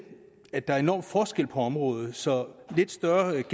at der er enorme forskelle på området så lidt større